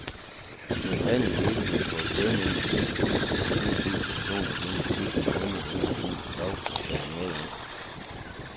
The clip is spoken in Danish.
Men faldet i ledigheden på et sted mellem seks tusind og syv tusind personer gennem de sidste måneder venter han dog tager noget af.